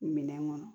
Minɛn kɔnɔ